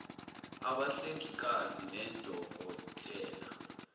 abahlengikazi nodoko tela